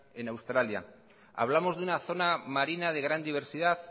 en australia hablamos de una zona marina de gran diversidad